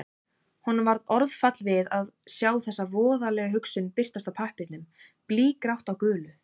Honum varð orðfall við að sjá þessa voðalegu hugsun birtast á pappírnum, blýgrátt á gulu.